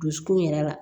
Dusukun yɛrɛ la